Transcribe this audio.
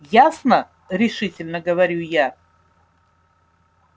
ясно решительно говорю я